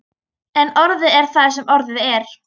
En orðið er það sem orðið er.